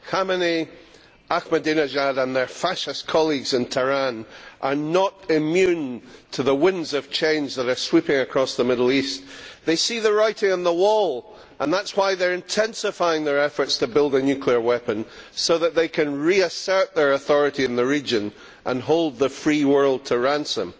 Khomeini, Ahmadinejad and their fascist colleagues in Tehran are not immune to the winds of change that are sweeping across the Middle East. They see the writing on the wall and that is why they are intensifying their efforts to build a nuclear weapon so that they can reassert their authority in the region and hold the free world to ransom.